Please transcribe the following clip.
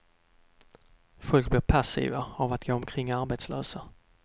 Folk blir passiva av att gå omkring arbetslösa.